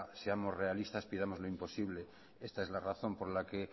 seamos realistas pidamos lo imposible esta es la razón por la que